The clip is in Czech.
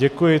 Děkuji.